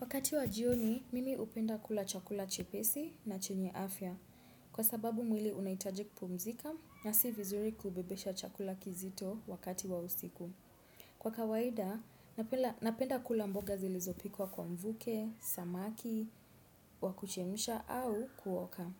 Wakati wa jioni, mimi upenda kula chakula chepesi na chenye afya. Kwa sababu mwili unaitaji kpumzika, nasi vizuri kubebesha chakula kizito wakati wa usiku. Kwa kawaida, napenda kula mboga zilizopikwa kwa mvuke, samaki, wakuchemsha au kuoka.